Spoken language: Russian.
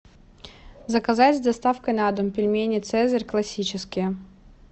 заказать с доставкой на дом пельмени цезарь классические